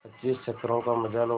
पच्चीस चक्करों का मजा लो